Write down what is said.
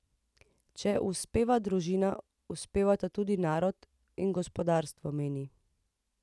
Če uspeva družina, uspevata tudi narod in gospodarstvo, meni.